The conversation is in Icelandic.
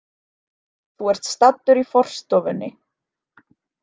Þú ert staddur í forstofunni.